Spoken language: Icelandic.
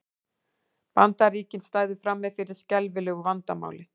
Bandaríkin stæðu frammi fyrir skelfilegu vandamáli